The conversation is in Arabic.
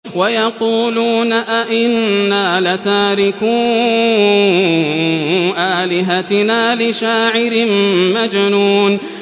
وَيَقُولُونَ أَئِنَّا لَتَارِكُو آلِهَتِنَا لِشَاعِرٍ مَّجْنُونٍ